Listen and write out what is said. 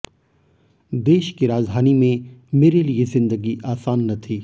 देश की राजधानी में मेरे लिए जिंदगी आसान न थी